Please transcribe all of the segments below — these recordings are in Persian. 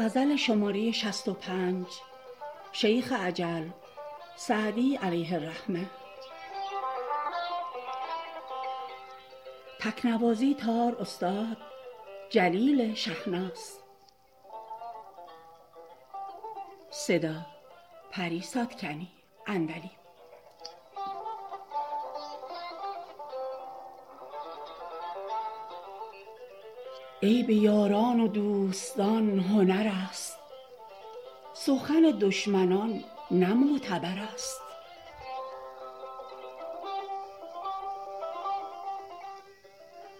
عیب یاران و دوستان هنر است سخن دشمنان نه معتبر است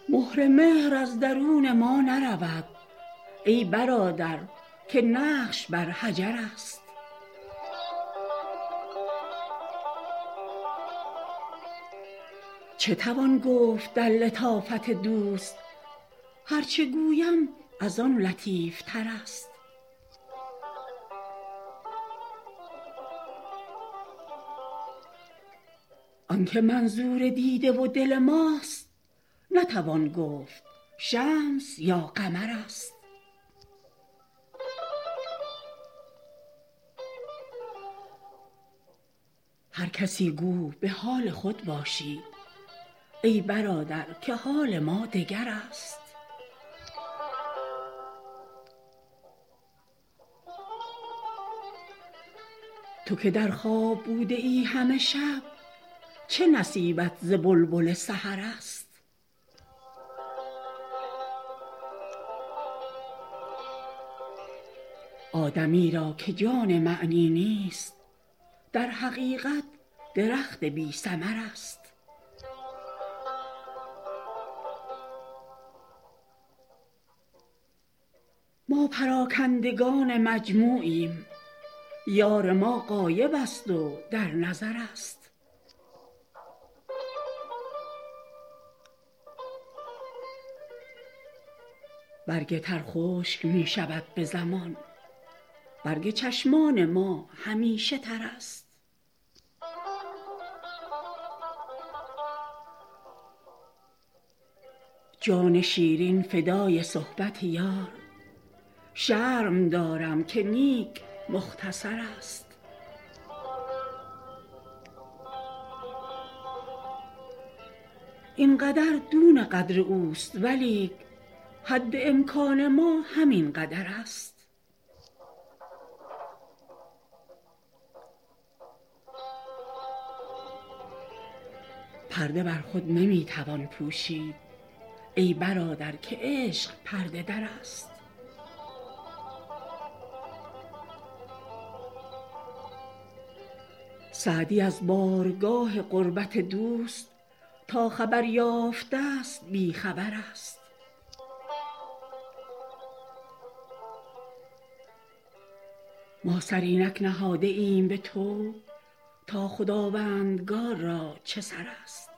مهر مهر از درون ما نرود ای برادر که نقش بر حجر است چه توان گفت در لطافت دوست هر چه گویم از آن لطیف تر است آن که منظور دیده و دل ماست نتوان گفت شمس یا قمر است هر کسی گو به حال خود باشید ای برادر که حال ما دگر است تو که در خواب بوده ای همه شب چه نصیبت ز بلبل سحر است آدمی را که جان معنی نیست در حقیقت درخت بی ثمر است ما پراکندگان مجموعیم یار ما غایب است و در نظر است برگ تر خشک می شود به زمان برگ چشمان ما همیشه تر است جان شیرین فدای صحبت یار شرم دارم که نیک مختصر است این قدر دون قدر اوست ولیک حد امکان ما همین قدر است پرده بر خود نمی توان پوشید ای برادر که عشق پرده در است سعدی از بارگاه قربت دوست تا خبر یافته ست بی خبر است ما سر اینک نهاده ایم به طوع تا خداوندگار را چه سر است